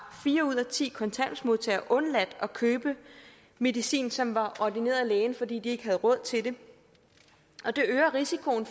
fire ud af ti kontanthjælpsmodtagere undladt at købe medicin som var ordineret af lægen fordi de ikke havde råd til det og det øger risikoen